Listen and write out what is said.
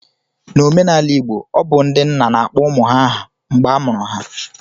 N'omenala Igbo, obu ndị nna na akpọ ụmụ ha aha mgbe a mụrụ ha